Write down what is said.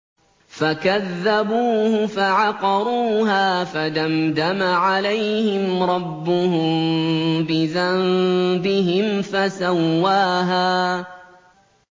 فَكَذَّبُوهُ فَعَقَرُوهَا فَدَمْدَمَ عَلَيْهِمْ رَبُّهُم بِذَنبِهِمْ فَسَوَّاهَا